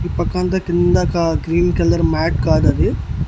ఈ పక్కంతా కింద కా గ్రీన్ కలర్ మ్యాట్ కాదది.